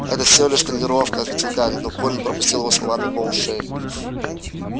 это всего лишь тренировка ответил гарри но колин пропустил его слова мимо ушей